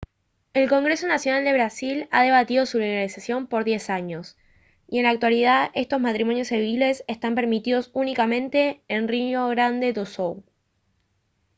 el congreso nacional de brasil ha debatido su legalización por 10 años y en la actualidad estos matrimonios civiles están permitidos únicamente en rio grande do sul